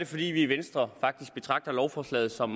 fordi vi i venstre betragter lovforslaget som